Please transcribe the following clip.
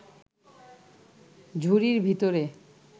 ঝুড়ির ভিতরে